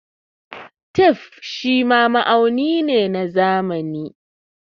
Tape shima ma'auni ne na zamani.